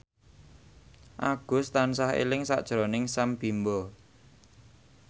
Agus tansah eling sakjroning Sam Bimbo